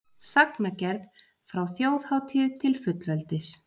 Sagnagerð frá þjóðhátíð til fullveldis